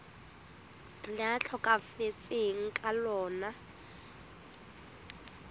le a tlhokafetseng ka lona